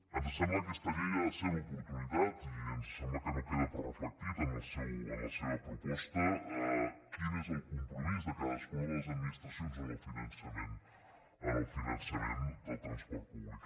ens sembla que aquesta llei ha de ser l’oportunitat i ens sembla que no queda prou reflectit en la seva proposta quin és el compromís de cadascuna de les administracions en el finançament del transport públic